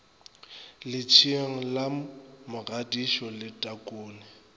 letsheng la mogadisho le takone